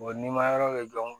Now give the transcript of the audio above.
n'i ma yɔrɔ bɛ dɔn